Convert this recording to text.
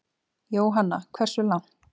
Jóhanna: Hversu langt?